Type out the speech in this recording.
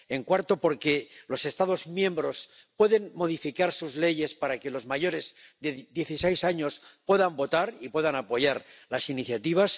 En cuarto, porque los Estados miembros pueden modificar sus leyes para que los mayores de dieciséis años puedan votar y puedan apoyar las iniciativas.